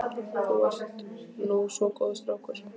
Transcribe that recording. Þú ert nú svo góður strákur.